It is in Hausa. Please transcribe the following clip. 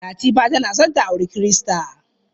Latifa tana son ta auri Kirista.